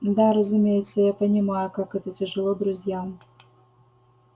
да разумеется я понимаю как это тяжело друзьям